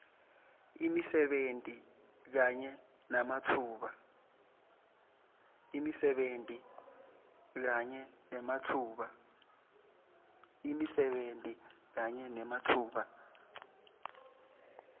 imisebenti kanye nematfuba